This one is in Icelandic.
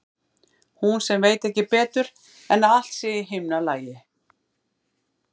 Hún sem veit ekki betur en að allt sé í himnalagi.